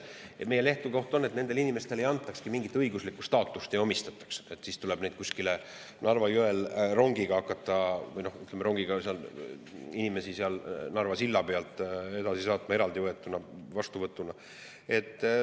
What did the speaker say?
Meie lähtekoht on, et nendele inimestele ei antakski mingit õiguslikku staatust, sest siis tuleks neid inimesi kuskilt Narva jõelt, sealt Narva sillalt rongiga hakata edasi saatma, eraldi vastu võetuna.